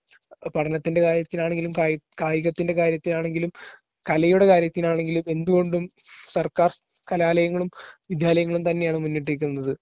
പഠനത്തിൻറെ കാര്യത്തിനാണെങ്കിലും കായി കായികത്തിൻറെ കാര്യത്തിനാണെങ്കിലും കലയുടെ കാര്യത്തിനാണെങ്കിലും എന്തുകൊണ്ടും സർക്കാർ കലാലയങ്ങളും വിദ്യാലയങ്ങളും തന്നെയാണ് മുന്നിട്ടുനിൽക്കുന്നത്.